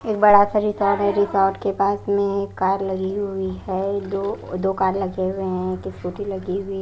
एकबड़ा सा रिसॉर्ट है रिसॉर्ट के पास में एक कार लगी हुई है दोदो कार लगे हुए हैंएक स्कूटी लगी हुई --